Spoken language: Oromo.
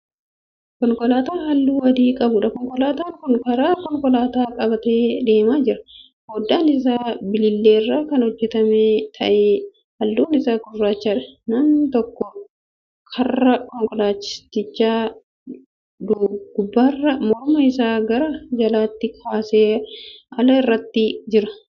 Konkolaataa halluu adii qabuudha. konkolaataan Kun karaa konkolaataa qabatee deemaa jira. foddaan Isaa bililleerraa Kan hojjatame ta'ee halluun Isaa gurraachadha. namni tokko karra konkolaatichaa gubbaarran morma isaa gara alaatti baasee ala ilaalaa Jira.